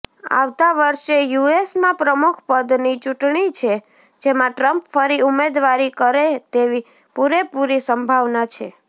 આવતા વર્ષે યુએસમાં પ્રમુખપદની ચૂંટણી છે જેમાં ટ્રમ્પ ફરી ઉમેદવારી કરે તેવી પૂરેપૂરી સંભાવના છે